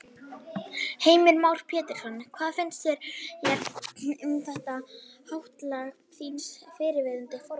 Heimir Már Pétursson: Hvað finnst þér um það háttalag þíns fyrrverandi formanns?